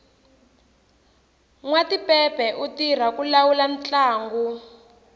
nwatipepe u tirha ku lawula ntlangu